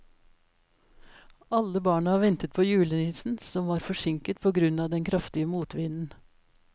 Alle barna ventet på julenissen, som var forsinket på grunn av den kraftige motvinden.